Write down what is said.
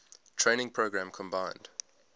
training program combined